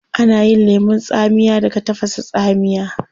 Ana yin lemun tsamiya daga tafasa tsamiya